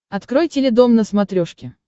открой теледом на смотрешке